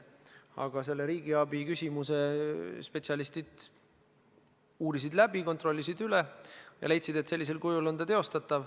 Aga riigiabiküsimuse spetsialistid uurisid eelnõu läbi, kontrollisid üle ja leidsid, et sellisel kujul on see teostatav.